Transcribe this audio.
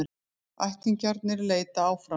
Ættingjarnir leita áfram